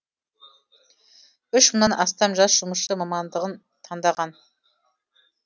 үш мыңнан астам жас жұмысшы мамандығын таңдаған